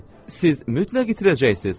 Siz mütləq itirəcəksiz.